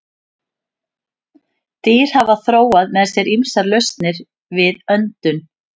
Dýr hafa þróað með sér ýmsar lausnir við öndun.